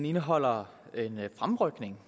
indeholder